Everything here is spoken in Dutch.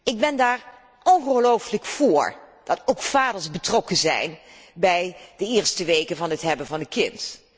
Ik ben er ongelooflijk vóór dat ook vaders betrokken zijn bij de eerste weken na de geboorte van een kind.